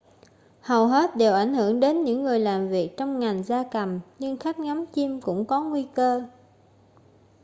hầu hết đều ảnh hưởng đến những người làm việc trong ngành gia cầm nhưng khách ngắm chim cũng có nguy cơ